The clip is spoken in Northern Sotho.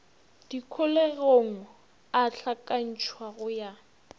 dikholegong a hlakantšhwa go ya